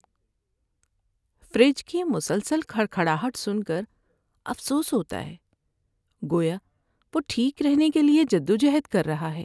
Fridge کی مسلسل کھڑکھڑاہٹ سن کر افسوس ہوتا ہے، گویا وہ ٹھیک رہنے کے لیے جدوجہد کر رہا ہے۔